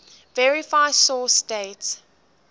verify source date